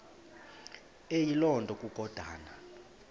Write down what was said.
eyiloo nto kukodana